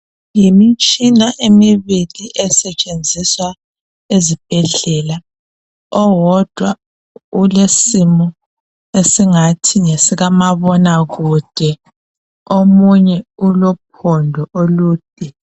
Yimitshina emibili esentshenziswa ezibhedlela owodwa ulesimo esingathi ngesika mabona kude omunye ulophondo olude